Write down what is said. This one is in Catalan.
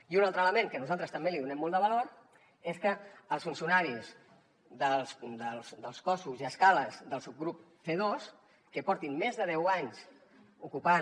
i un altre element a què nosaltres també li donem molt de valor és que els funcionaris dels cossos i escales del subgrup c2 que portin més de deu anys ocupant